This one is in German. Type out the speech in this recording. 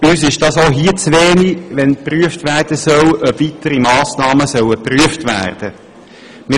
Uns ist es zu wenig, dass geprüft werden soll, ob weitere Massnahmen geprüft werden sollen.